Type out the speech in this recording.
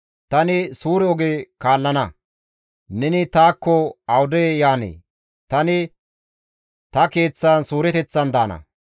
Tani suure oge kaallana; neni taakko awude yaanee? Tani ta keeththan suureteththan daana.